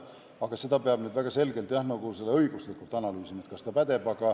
Aga seda peab nüüd väga selgelt õiguslikult analüüsima, et kas see on võimalik.